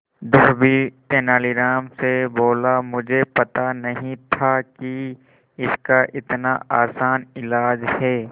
धोबी तेनालीराम से बोला मुझे पता नहीं था कि इसका इतना आसान इलाज है